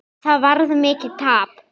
Það varð mikið tap.